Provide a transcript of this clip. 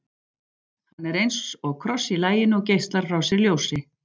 Hann er eins og kross í laginu og geislar frá sér ljósi.